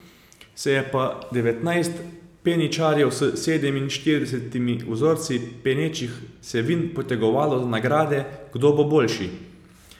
Se je pa devetnajst peničarjev s sedeminštiridesetimi vzorci penečih se vin potegovalo za nagrade, kdo bo najboljši.